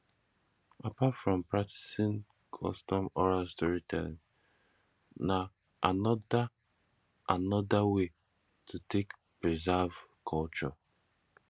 apart from practicing customs oral story telling na another another way to take preserve culture